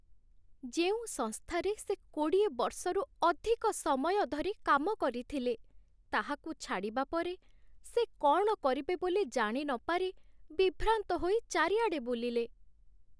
ଯେଉଁ ସଂସ୍ଥାରେ ସେ କୋଡ଼ିଏ ବର୍ଷରୁ ଅଧିକ ସମୟ ଧରି କାମ କରିଥିଲେ, ତାହାକୁ ଛାଡ଼ିବା ପରେ, ସେ କ'ଣ କରିବେ ବୋଲି ଜାଣିନପାରି ବିଭ୍ରାନ୍ତ ହୋଇ ଚାରିଆଡ଼େ ବୁଲିଲେ।